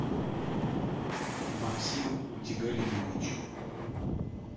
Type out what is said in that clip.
максим утигалиевич